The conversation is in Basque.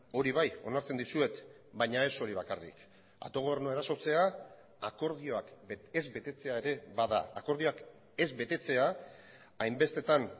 hori bai onartzen dizuet baina ez hori bakarrik autogobernua erasotzea akordioak ez betetzea ere bada akordioak ez betetzea hainbestetan